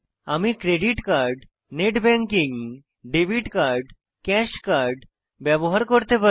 আমি credit card net banking debit card cash card ব্যবহার করতে পারি